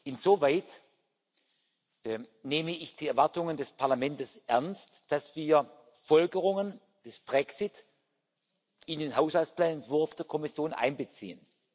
Insoweit nehme ich die Erwartungen des Parlaments ernst, dass wir Folgerungen aus dem Brexit in den Haushaltsplanentwurf der Kommission einbeziehen.